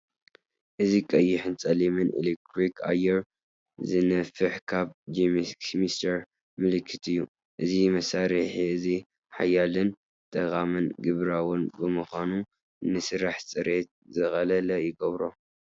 እዚ ቀይሕን ጸሊምን ኤሌክትሪክ ኣየር ዝነፍሕ ካብ ጃክስሚስተር ምልክት እዩ። እዚ መሳርሒ እዚ ሓያልን ጠቓምን ግብራውን ብምዃኑ፡ ንስራሕ ጽሬት ዝቐለለ ይገብሮ።